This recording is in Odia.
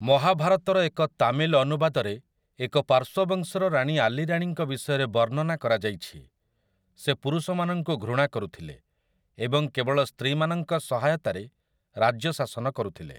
ମହାଭାରତର ଏକ ତାମିଲ୍ ଅନୁବାଦରେ ଏକ ପାର୍ଶ୍ୱବଂଶର ରାଣୀ ଆଲିରାଣୀଙ୍କ ବିଷୟରେ ବର୍ଣ୍ଣନା କରାଯାଇଅଛି । ସେ ପୁରୁଷମାନଙ୍କୁ ଘୃଣା କରୁଥିଲେ ଏବଂ କେବଳ ସ୍ତ୍ରୀମାନଙ୍କ ସହାୟତାରେ ରାଜ୍ୟ ଶାସନ କରୁଥିଲେ ।